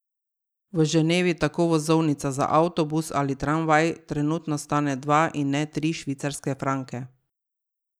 V Ženevi tako vozovnica za avtobus ali tramvaj trenutno stane dva in ne tri švicarske franke.